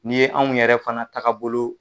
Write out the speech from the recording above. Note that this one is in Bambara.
N' ye anw yɛrɛ fana taaga bolo.